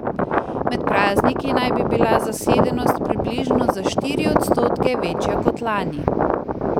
Med prazniki naj bi bila zasedenost približno za štiri odstotke večja kot lani.